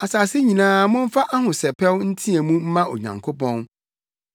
Asase nyinaa momfa ahosɛpɛw nteɛ mu mma Onyankopɔn!